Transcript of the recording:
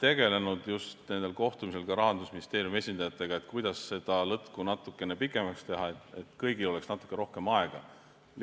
tegelenud just nendel kohtumistel Rahandusministeeriumi esindajatega, et kuidas seda lõtku natukene pikemaks teha, et kõigil oleks lihtsalt natuke rohkem aega.